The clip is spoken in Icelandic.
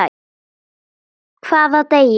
Hvaða degi?